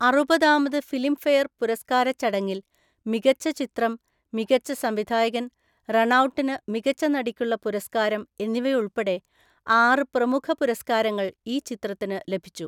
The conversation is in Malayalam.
അറുപതാമത് ഫിലിംഫെയർ പുരസ്കാരച്ചടങ്ങിൽ, മികച്ച ചിത്രം, മികച്ച സംവിധായകൻ, റണൗട്ടിന് മികച്ച നടിക്കുള്ള പുരസ്കാരം എന്നിവയുൾപ്പെടെ ആറ് പ്രമുഖ പുരസ്കാരങ്ങൾ ഈ ചിത്രത്തിന് ലഭിച്ചു.